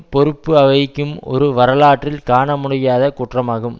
பொறுப்பு வகிக்கும் ஒரு வரலாற்றில் காணமுடியாத குற்றமாகும்